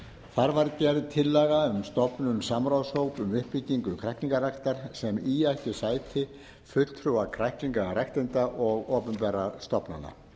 þar var gerð tillaga um stofnun samráðshóps um uppbyggingu kræklingaræktar sem í ættu sæti fulltrúar kræklingaræktenda og opinberra stofnana